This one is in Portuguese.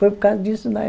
Foi por causa disso daí.